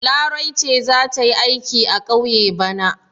Larai ce za ta yi aiki a ƙauye bana.